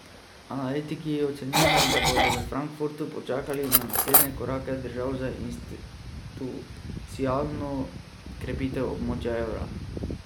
Analitiki ocenjujejo, da bodo v Frankfurtu počakali na naslednje korake držav za institucionalno krepitev območja evra.